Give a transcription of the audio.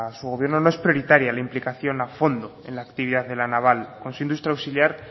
su gobierno no es prioritaria la implicación a fondo en la actividad de la naval con su industria auxiliar